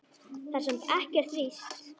Það er samt ekkert víst.